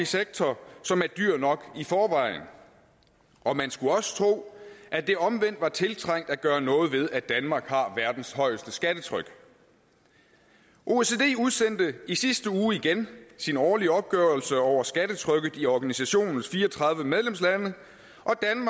sektor som var dyr nok i forvejen og man skulle også tro at det omvendt var tiltrængt at gøre noget ved at danmark har verdens højeste skattetryk oecd udsendte i sidste uge igen sin årlige opgørelse over skattetrykket i organisationens fire og tredive medlemslande